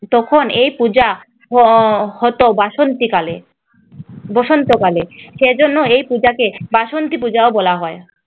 তখন এই পূজা আহ হতো বাসন্তী কালে বসন্ত কালে সেজন্য এই পূজাকে বাসন্তী পূজা বলা হয় ।